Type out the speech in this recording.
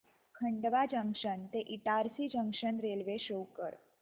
Khandwa junction ते Itarsi junction railway show कर